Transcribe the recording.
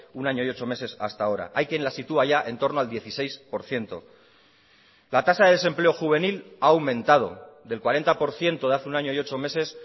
un año y ocho meses hasta ahora hay quien la sitúa ya en torno al dieciséis por ciento la tasa de desempleo juvenil ha aumentado del cuarenta por ciento de hace un año y ocho meses